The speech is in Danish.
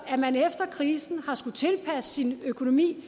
at man efter krisen har skullet tilpasse sin økonomi